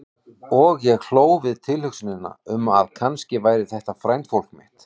Og ég hló við tilhugsunina um að kannski væri þetta frændfólk mitt.